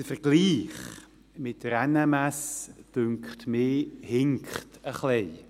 Der Vergleich mit der NMS, dünkt mich, hinkt etwas.